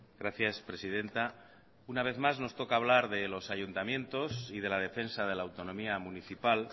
gracias presidenta una vez más nos toca hablar de los ayuntamientos y de la defensa de la autonomía municipal